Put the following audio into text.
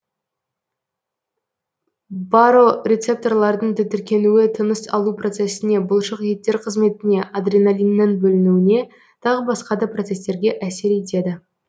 барорецепторлардың тітіркенуі тыныс алу процесіне бұлшық еттер қызметіне адреналиннің бөлінуіне тағы басқа да процестерге әсер етеді